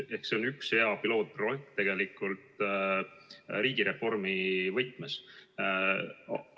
Ja see on tegelikult riigireformi võtmes üks hea pilootprojekt.